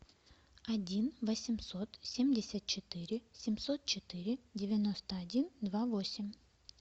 один восемьсот семьдесят четыре семьсот четыре девяносто один два восемь